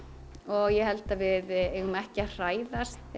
og ég held að við eigum ekki að hræðast